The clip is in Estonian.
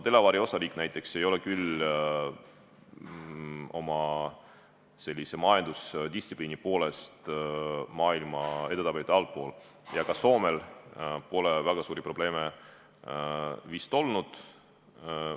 Delaware'i osariik näiteks ei ole küll oma majandusdistsipliini poolest maailma edetabelites alumises pooles ja ka Soomel pole väga suuri probleeme vist olnud.